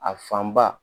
A fan ba